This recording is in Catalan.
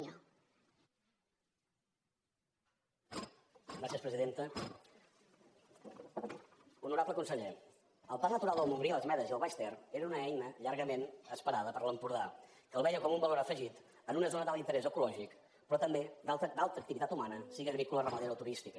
honorable conseller el parc natural del montgrí les medes i el baix ter era una eina llargament esperada per l’empordà que el veia com un valor afegit en una zona d’alt interès ecològic però també d’alta activitat humana sigui agrícola ramadera o turística